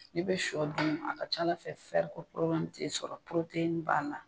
N'i bɛ shɔ dun a ka ca Ala fɛ ko t'i sɔrɔ b'a la.